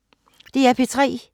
DR P3